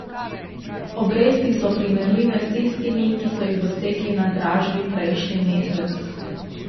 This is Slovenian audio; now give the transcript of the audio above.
Obresti so primerljive s tistimi, ki so jih dosegli na dražbi prejšnji mesec.